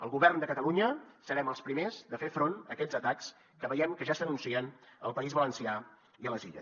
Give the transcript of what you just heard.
el govern de catalunya serem els primers de fer front a aquests atacs que veiem que ja s’anuncien al país valencià i a les illes